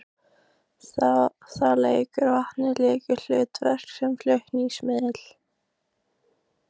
Þar leikur vatnið lykilhlutverk sem flutningsmiðill.